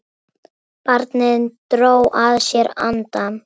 Barnið dró að sér andann.